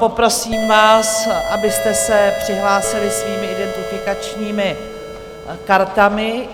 Poprosím vás, abyste se přihlásili svými identifikačními kartami.